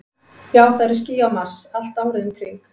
Já, það eru ský á Mars, allt árið um kring.